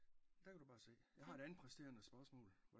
Der kan du bare se jeg har et andet præsterende spørgsmål